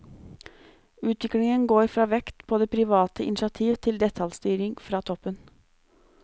Utviklingen går fra vekt på det private initiativ til detaljstyring fra toppen.